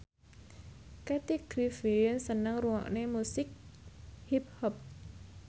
Kathy Griffin seneng ngrungokne musik hip hop